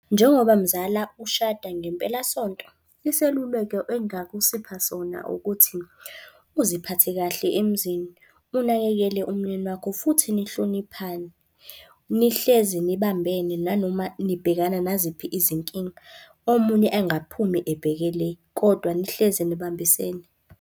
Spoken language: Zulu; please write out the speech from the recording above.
Njengoba mzala ushada ngempelasonto, iseluleko engingakusipha sona ukuthi, uziphathe kahle emzini, unakekele umyeni wakho futhi nihloniphane. Nihlezi nibambene nanoma nibhekana naziphi izinkinga. Omunye engaphumi ebheke le, kodwa nihlezi nibambisene.